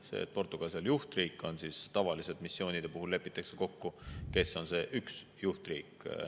See, et Portugal seal juhtriik on, tavaliselt missioonide puhul lepitakse kokku, kes on see üks juhtriik.